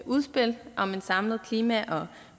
udspil om en samlet klima og